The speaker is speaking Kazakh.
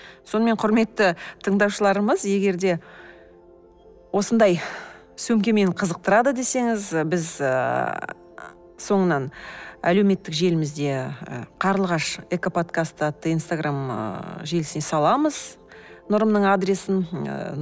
сонымен құрметті тыңдаушыларымыз егер де осындай сөмке мені қызықтырады десеңіз біз ыыы соңынан әлеуметтік желімізде қарлығаш экоподкаст атты инстаграм ы желісіне саламыз нұрымның адресін ыыы